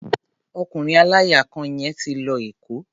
Ọkùnrin aláya kan yẹn ti lọ Èkó.